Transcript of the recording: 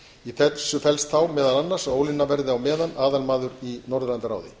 í þessu felst þá meðal annars að ólína verði á meðan aðalmaður í norðurlandaráði